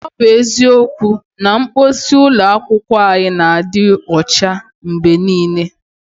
Ọ bụ eziokwu na mposi ụlọ akwụkwọ anyị na-adị ụcha mgbe niile.